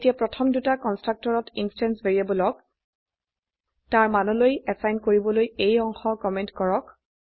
এতিয়া প্ৰথম দুটা কন্সট্ৰাকটৰত ইন্সট্যান্স ভ্যাৰিয়েবলক তাৰ মানলৈ এসাইন কৰিবলৈ এই অংশ কমেন্ট কৰক